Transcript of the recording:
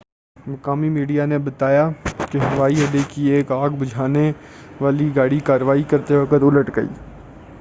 مقامی میڈیا نے بتایا کہ ہوائی اڈے کی ایک آگ بھجانے والی گاڑی کاروائی کرتے وقت الٹ گئی